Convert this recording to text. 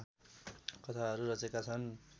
कथाहरू रचेका छन्